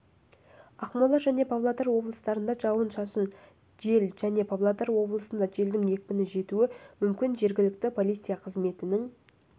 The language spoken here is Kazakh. ақмола және павлодар облыстарында жауын-шашын жел және павлодар облысында желдің екпіні жетуі мүмкін жергілікті полиция қызметінің